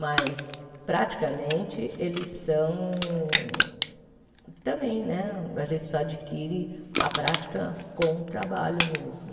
Mas, praticamente, eles são também né a gente só adquire a prática com o trabalho mesmo.